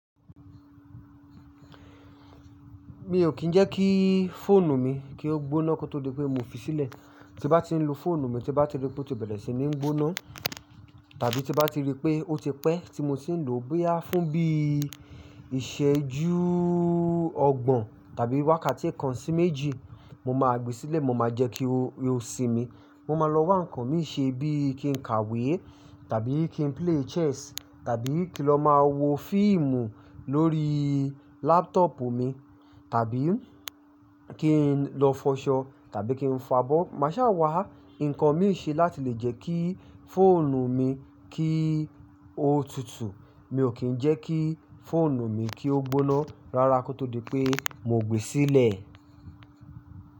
Mi ò kín ń jẹ́ kí fóònù mi kí ó gbóná kó tó di pé mo fi sílẹ̀. Ti bá ti ń lo fóònù mi, ti bá ti rí pé ó ti bẹ̀rẹ̀ sí ní gbóná, tàbí ti bá ti rí pé ó ti pẹ́ tí mo ti ń lò ó gbé á fún bí iṣẹ́jú ọgbọ̀n tàbí wákàtí kan sí méjì, mo máa gbé sílẹ̀, mo máa jẹ́ kí ó sinmi. Mo máa lọ wá nǹkan mí ṣe bí i kí n kàwé tàbí kí n play chess tàbí kí lọ máa wo fíìmù lórí laptop mi, tàbí kí n lọ fọṣọ tàbí kí n fabọ́. Màá ṣàwà nǹkan mí ṣe láti lè jẹ́ kí fóònù mi kí ó tutù. Mi ò kín ń jẹ́ kí fóònù mi kí ó gbóná rárá kó tó di pé mo gbe sílẹ̀.